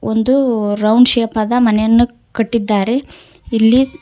ಒಂದು round shape ಆದ ಮನೆಯನ್ನು ಕಟ್ಟಿದ್ದಾರೆ ಇಲ್ಲಿ--